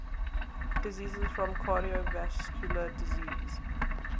deaths from cardiovascular disease